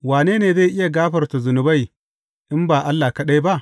Wane ne zai iya gafarta zunubai, in ba Allah kaɗai ba?